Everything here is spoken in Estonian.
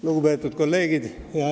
Lugupeetud kolleegid!